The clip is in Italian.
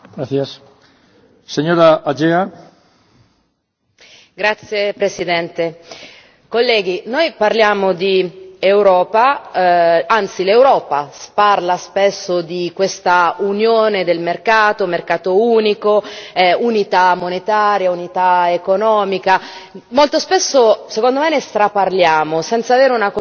Signor Presidente, onorevoli colleghi, noi parliamo di Europa, anzi l'Europa sparla spesso di questa Unione del mercato, mercato unico, unità monetaria, unità economica... Molto spesso, secondo me, ne straparliamo senza avere una cognizione di causa.